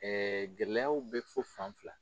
gɛlɛyaw bɛ fo fan fila.